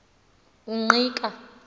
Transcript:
ungqika